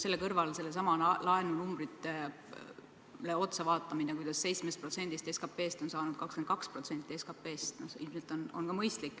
Selle kõrval on ilmselt mõistlik vaadata sedasama laenunumbrit, kuidas 7% asemel SKP-st on 22% SKP-st.